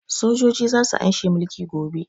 Sojoji za su an she mulki gobe